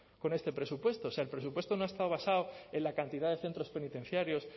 con este presupuesto o sea el presupuesto no ha estado basado en la cantidad de centros penitenciarios